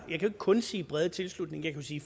jo ikke kun sige brede tilslutning jeg kan sige